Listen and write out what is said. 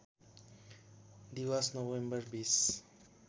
दिवस नोभेम्बर २०